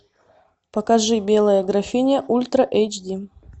покажи белая графиня ультра эйч ди